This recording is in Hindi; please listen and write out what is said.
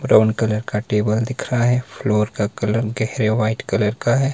ब्राउन कलर का टेबल दिख रहा है फ्लोर का कलर गेहरे व्हाइट कलर का है।